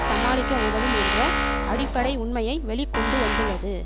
சமாளிக்க உதவும் என்ற அடிப்படை உண்மையை வெளிக்கொண்டுவந்துள்ளது